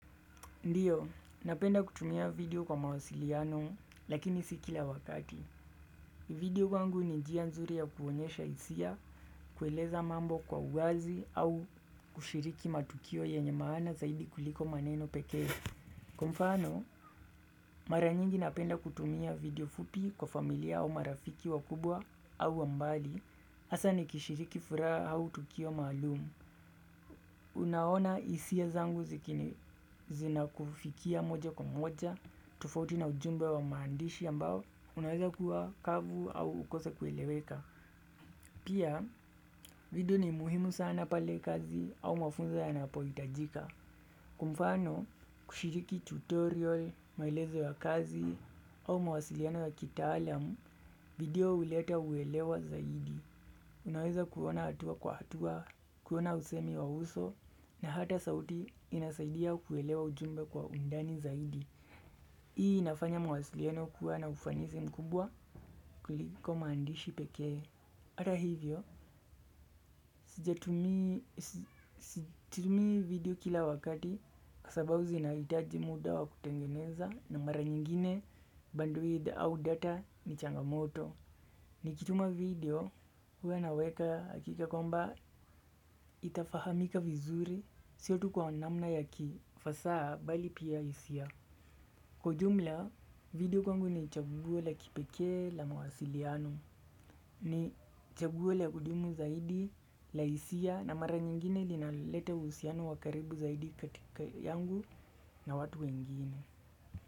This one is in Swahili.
Ndiyo, napenda kutumia video kwa mawasiliano, lakini sikila wakati. Video kwangu ni jia nzuri ya kuonyesha isia, kueleza mambo kwa uwazi au kushiriki matukio yenye maana zaidi kuliko maneno pekee. Kwa mfano, mara nyingi napenda kutumia video fupi kwa familia au marafiki wakubwa au wa mbali, hasa ni kishiriki furaha au tukio maalumu. Unaona isia zangu zikini zina kufikia moja kwa moja, tofauti na ujumbe wa maandishi ambao, unaweza kuwa kavu au ukose kueleweka. Pia, video ni muhimu sana pale kazi au mafunzo ya napo itajika. Kwa mfano, kushiriki tutorial, maelezo ya kazi au mawasiliano ya kitaalam, video huleta uelewa zaidi. Unaweza kuona hatua kwa hatua, kuona usemi wa uso na hata sauti inasaidia kuelewa ujumbe kwa undani zaidi. Hii inafanya mawasliano kuwa na ufanisi mkubwa. Kuliko maandishi pekee. Hata hivyo, sija tumi video kila wakati sababu zinaitaji muda wa kutengeneza na mara nyingine bandui au data ni changamoto. Nikituma video, huwa naweka hakika kwamba itafahamika vizuri, sio tu kwa namna ya kifasaa bali pia hisia. Kwa ujumla, video kwangu ni chaguo la kipekee la mawasiliano. Ni chaguo la kudumu zaidi la hisia na mara nyingine linalete uhusiano wa karibu zaidi katika yangu na watu wengine.